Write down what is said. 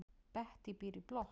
Bettý býr í blokk.